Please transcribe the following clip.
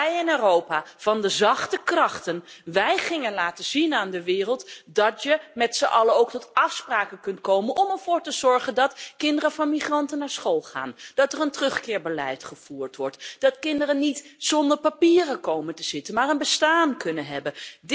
Maar wij, in het Europa van de zachte krachten, gingen aan de wereld laten zien dat je met zijn allen ook tot afspraken kunt komen om ervoor te zorgen dat kinderen van migranten naar school gaan, dat er een terugkeerbeleid gevoerd wordt, en dat kinderen niet zonder papieren komen te zitten maar een bestaan kunnen hebben.